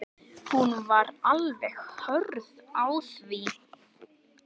Hún var alveg hörð á því.